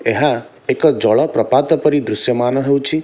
ଏହା ଏକ ଜଳପ୍ରପାତ ପରି ଦୃଶ୍ୟମାନ ହେଉଛି ।